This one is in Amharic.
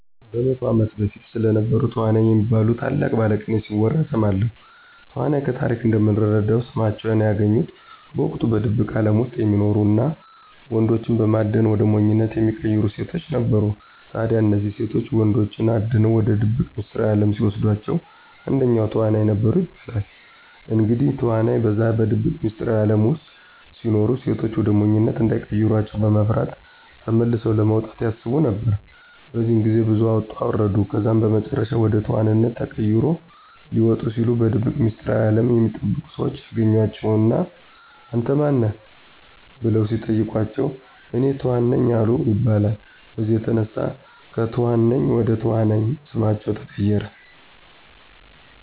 በ100 ዓመት በፊት ስለነበሩ ተዋናይ የሚባሉ ታላቅ ባለቅኔ ሲወራ እሰማለሁ። ተዋናይ ከታሪክ እንደምንረዳው ስማቸውን ያገኙት በወቅቱ በድብቅ አለም ውስጥ የሚኖሩ እና ወንዶችን በማደን ወደ ሞኝነት የሚቀይሩ ሴቶች ነበሩ። ታዲያ እነዚህ ሴቶች ወንዶችን አድነው ወደ ድብቅ ሚስጥራዊ አለም ሲወስዷቸዉ አንደኛው ተዋናይ ነበሩ ይባላል። እንግዲህ ተዋናይ በዛ በድብቅ ሚስጥራዊ አለም ውስጥ ሲኖሩ ሴቶች ወደ ሞኝነት እንዳይቀሯቸው በመፍራት ተመልሰው ለመውጣት ያስቡ ነበር። በዚህ ግዜ ብዙ አወጡ አወረዱ ከዛም በመጨረሻም ወደ ተኋንነት ተቀይሮ ሊወጡ ሲሉ በድብቅ ሚስጥራዊ አለም የሚጠበቁ ሰዎች ያገኟቸው እና አንተ ማን ነህ? በለው ሲጠይቋቸው፤ እኔ ተኋን ነኝ አሉ ይባላል። በዚህም የተነሳ ከትኋን ነኝ ወደ ተዋናይ ስማቸው ተቀየረ።